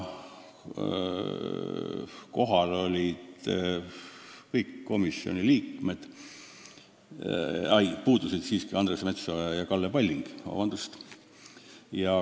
Kohal olid peaaegu kõik komisjoni liikmed, puudusid vaid Andres Metsoja ja Kalle Palling.